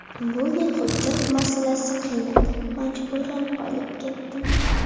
Bu yil hujjat masalasi qiynadi, majburan qolib ketdim.